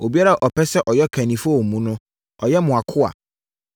Obiara a ɔpɛ sɛ ɔyɛ ɔkannifoɔ wɔ mo mu no, ɔnyɛ mo akoa.